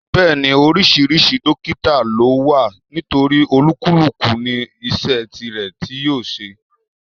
Bẹ́ẹ̀ni, oríṣiríṣi dọ́kítà ló wà nítorí olúkúlùkù ní iṣẹ́ tirẹ̀ tí yóò ṣe.